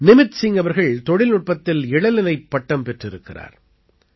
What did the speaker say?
நிமித் சிங் அவர்கள் தொழில்நுட்பத்தில் இளநிலைப் பட்டம் பெற்றிருக்கிறார்